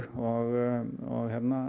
og